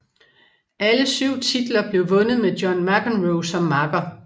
Alle syv titler blev vundet med John McEnroe som makker